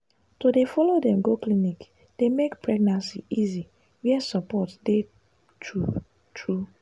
to dey follow dem go clinic dey make pregnancy easy where support dey true dey true true.